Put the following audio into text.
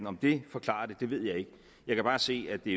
om det forklarer det ved jeg ikke jeg kan bare se at det